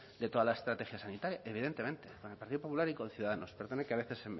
de toda la estrategia sanitaria evidentemente con el partido popular y con ciudadanos que a veces